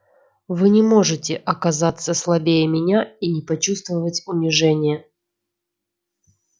вы не можете оказаться слабее меня и не почувствовать унижения